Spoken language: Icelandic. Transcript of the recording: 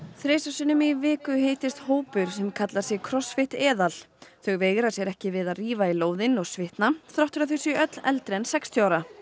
þrisvar sinnum í viku hittist hópur sem kallar sig Crossfit eðal þau veigra sér ekki við að rífa í lóðin og svitna þrátt fyrir að þau séu öll eldri en sextíu ára